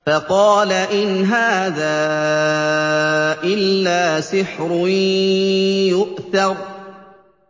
فَقَالَ إِنْ هَٰذَا إِلَّا سِحْرٌ يُؤْثَرُ